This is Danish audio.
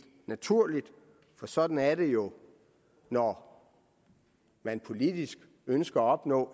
naturligt for sådan er det jo når man politisk ønsker at opnå